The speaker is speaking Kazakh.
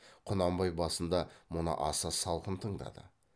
құнанбай басында мұны аса салқын тыңдады